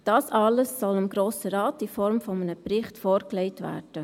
Das alles soll dem Grossen Rat in Form eines Berichts vorgelegt werden.